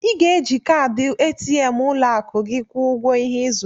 I ga-eji kaadị ATM ụlọakụ gị kwụọ ụgwọ ihe ị zụrụ